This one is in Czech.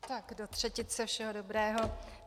Tak do třetice všeho dobrého.